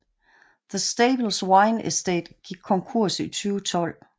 The Stables Wine Estate gik konkurs i 2012